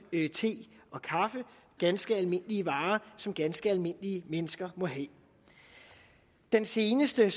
te og kaffe ganske almindelige varer som ganske almindelige mennesker må have den seneste